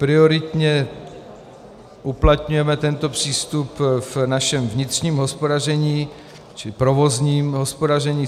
Prioritně uplatňujeme tento přístup v našem vnitřním hospodaření či provozním hospodaření.